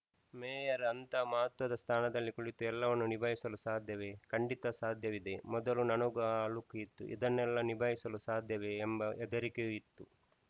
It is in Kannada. ಮೇಯರ್‌ ಅಂತಹ ಮಹತ್ವದ ಸ್ಥಾನದಲ್ಲಿ ಕುಳಿತು ಎಲ್ಲವನ್ನೂ ನಿಭಾಯಿಸಲು ಸಾಧ್ಯವೇ ಖಂಡಿತ ಸಾಧ್ಯವಿದೆ ಮೊದಲು ನನಗೂ ಆ ಅಳುಕು ಇತ್ತು ಇದನ್ನೆಲ್ಲಾ ನಿಭಾಯಿಸಲು ಸಾಧ್ಯವೇ ಎಂಬ ಹೆದರಿಕೆಯೂ ಇತ್ತು